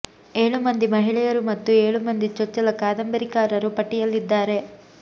ಏಳು ಮಂದಿ ಮಹಿಳೆಯರು ಮತ್ತು ಏಳು ಮಂದಿ ಚೊಚ್ಚಲ ಕಾದಂಬರಿಕಾರರು ಪಟ್ಟಿಯಲ್ಲಿದ್ದಾರೆ